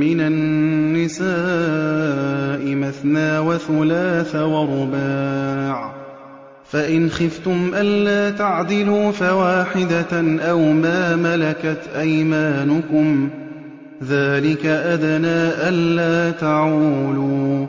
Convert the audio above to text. مِّنَ النِّسَاءِ مَثْنَىٰ وَثُلَاثَ وَرُبَاعَ ۖ فَإِنْ خِفْتُمْ أَلَّا تَعْدِلُوا فَوَاحِدَةً أَوْ مَا مَلَكَتْ أَيْمَانُكُمْ ۚ ذَٰلِكَ أَدْنَىٰ أَلَّا تَعُولُوا